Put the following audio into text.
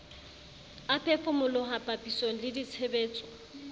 a phefomoloho papisong le ditshebetso